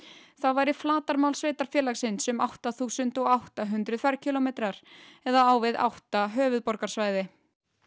þá væri flatarmál sveitarfélagsins um átta þúsund átta hundruð ferkílómetrar eða á við átta höfuðborgarsvæði